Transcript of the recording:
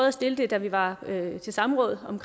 at stille det da vi var til samråd om